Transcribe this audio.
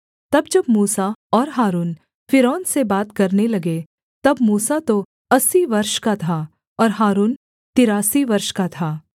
तब जब मूसा और हारून फ़िरौन से बात करने लगे तब मूसा तो अस्सी वर्ष का था और हारून तिरासी वर्ष का था